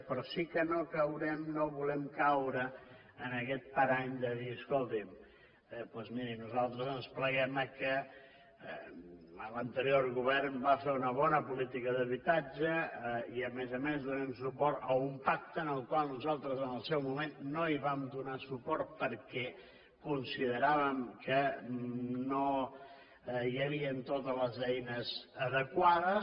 però sí que no caurem no volem caure en aquest parany de dir escolti’m doncs miri nosaltres ens pleguem que l’anterior govern va fer una bona política d’habitatge i a més a més donem suport a un pacte al qual nosaltres en el seu moment no vam donar suport perquè consideràvem que no hi havien totes les eines adequades